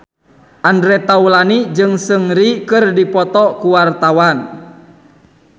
Andre Taulany jeung Seungri keur dipoto ku wartawan